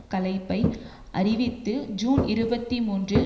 கலைப்பை அறிவித்து ஜூன் இருபத்தி மூன்றில்